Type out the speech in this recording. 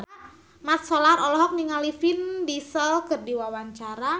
Mat Solar olohok ningali Vin Diesel keur diwawancara